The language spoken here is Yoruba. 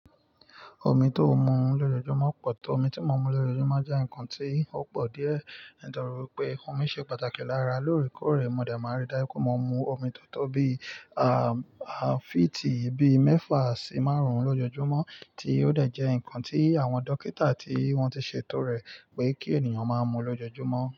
Omi tó mu lójoojúmọ́ pọ̀ tó omi tí mo mu lójoojúmọ́ jẹ́ ǹkan tó pọ̀ díẹ̀, nítorí pé omi ṣe pàtàkì lára lóòrèkóòrè. Mo dààmú àri dájú pé mo mu omi tó tó bí, à, à fíìtì bí mẹ́fà sí márùn-ún lójoojúmọ́, tí ó dà jẹ ǹkan tí àwọn dókítà tí wọ́n ti ṣetọrẹ pé kí ènìyàn máa mu lójoojúmọ́